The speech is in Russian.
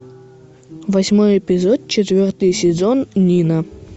восьмой эпизод четвертый сезон нина